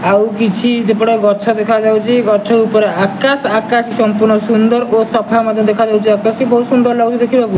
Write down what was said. ଆଉ କିଛି ଦିପଟ ଗଛ ଦେଖାଯାଉଛି ଗଛ ଉପରେ ଆକାଶ ଆକାଶ ସମ୍ପୂର୍ଣ୍ଣ ସୁନ୍ଦର ଓ ସଫା ମଧ୍ୟ ଦେଖାଯାଉଛି ଆକାଶ ବି ବହୁତ ସୁନ୍ଦର ଲାଗୁଛି ଦେଖିବାକୁ।